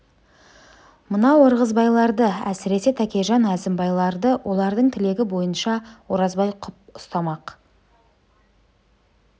мынау ырғызбайларды әсіресе тәкежан әзімбайларды олардың тілегі бойынша оразбай құпия қып ұстамақ